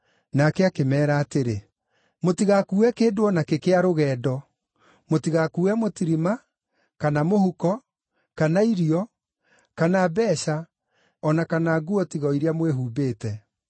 Nake akĩmeera atĩrĩ, “Mũtigakuue kĩndũ o nakĩ kĩa rũgendo; mũtigakuue mũtirima, kana mũhuko, kana irio, kana mbeeca o na kana nguo tiga o iria mwĩhumbĩte.